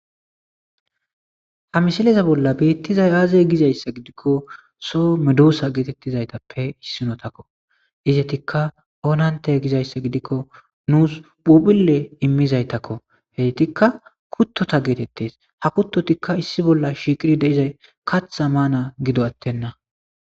ha misileza bolla beettizay aaze gizayssa gidikko so medusa geetettizaytappe issinotakko izetikka onante gizayssa gidikko nuus phubille immizaytakko heetikka kuttota geetettes ha kuttotikka issi bolla shiiqiri de'izay katha maana gido attenna